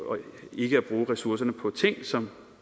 ikke at bruge ressourcerne på ting som